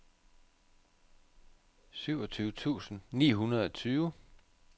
syvogtyve tusind ni hundrede og tyve